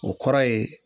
O kɔrɔ ye